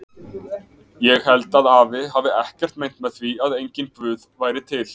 Ég held að afi hafi ekkert meint með því að enginn Guð væri til.